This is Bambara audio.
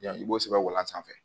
i b'o sɛbɛn walan sanfɛ